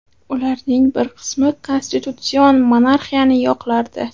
Ularning bir qismi konstitutsion monarxiyani yoqlardi.